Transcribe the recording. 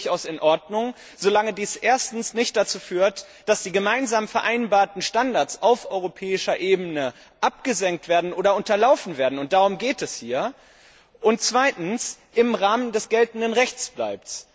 Das ist durchaus in Ordnung, solange dies erstens nicht dazu führt, dass die gemeinsam vereinbarten Standards auf europäischer Ebene abgesenkt oder unterlaufen werden und darum geht es hier und man zweitens im Rahmen des geltenden Rechts bleibt.